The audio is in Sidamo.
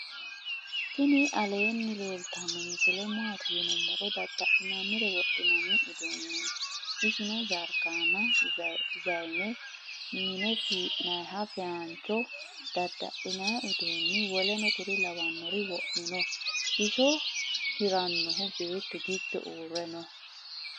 tini aleni leltano misile mati yiinumoro .dada'linara wodhinoni uduuneti isino jarikenna zayinne minne fi'nayiha fayincho ada'linayi uduuni w.k.l.wo'mino. iso hiranohu bettu giddo ure noo.